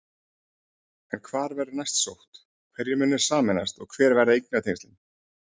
En hvar verður næst sótt, hverjir munu sameinast og hver verða eignatengslin?